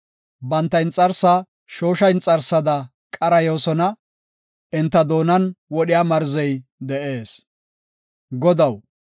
Banta inxarsaa shoosha inxarsada qarayoosona; enta doonan wodhiya marzey de7ees. Salaha